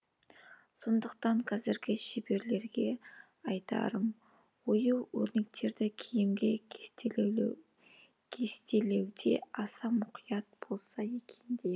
сондықтан қазіргі шеберлерге айтарым ою өрнектерді киімге кестелеуде аса мұқият болса екен деймін